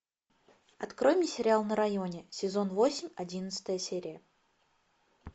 открой мне сериал на районе сезон восемь одиннадцатая серия